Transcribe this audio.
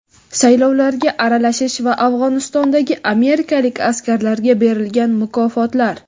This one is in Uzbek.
saylovlarga aralashish va Afg‘onistondagi amerikalik askarlarga berilgan mukofotlar.